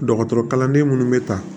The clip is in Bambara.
Dɔgɔtɔrɔ kalanden minnu bɛ ta